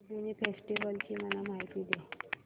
Lumbini festival ची मला माहिती दे